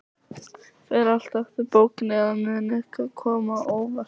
Fer allt eftir bókinni, eða mun eitthvað koma á óvart?